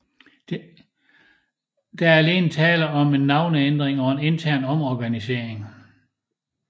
Der er alene tale om en navneændring og en intern omorganisering